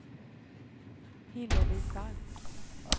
Hillevi Falk